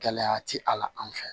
Gɛlɛya ti a la an fɛ yan